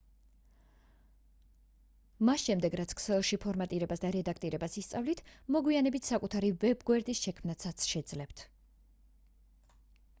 მას შემდეგ რაც ქსელში ფორმატირებას და რედაქტირებას ისწავლით მოგვიანებით საკუთარი ვებ-გვერდის შექმნას შეძლებთ